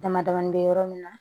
Dama damani bɛ yɔrɔ min na